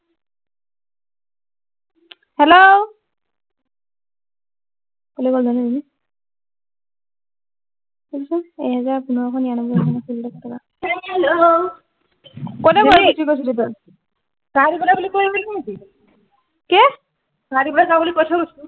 কলৈ গল জানো এই জনি শুনচোন এক হেজাৰ পোন্ধৰশ নিৰানব্বৈ টকা দিলি কলৈ গৈছিলি চা দিবলে বুলি কৈ নাছিলো নেকি কি চাহ দিবলে যাও বুলি কৈ থৈ গৈছো